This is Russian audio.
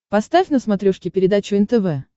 поставь на смотрешке передачу нтв